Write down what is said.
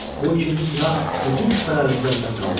Bu ikinci sınaq bütün şübhələrimizi aradan qaldırdı.